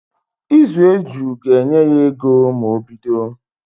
Ịzụ eju ga-enye ya ego ma o bido